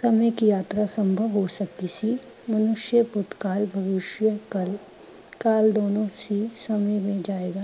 ਸਮੇਂ ਕੀ ਯਾਤਰਾ ਸੰਭਵ ਹੋ ਸਕਦੀ ਸੀ, ਮਨੁਸ਼ਯ ਭੂਤਕਾਲ, ਭਵੀਸ਼ਯਕਾਲ ਕਾਲ ਦੋਨੋ ਹੀ ਸਮੇਂ ਮੇਂ ਜਾਏਗਾ।